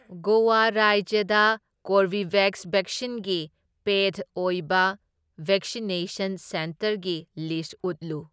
ꯒꯣꯋꯥ ꯔꯥꯏꯖ꯭ꯌꯗ ꯀꯣꯔꯕꯤꯚꯦꯛꯁ ꯚꯦꯛꯁꯤꯟꯒꯤ ꯄꯦꯗ ꯑꯣꯏꯕ ꯚꯦꯛꯁꯤꯅꯦꯁꯟ ꯁꯦꯟꯇꯔꯒꯤ ꯂꯤꯁ ꯎꯠꯂꯨ꯫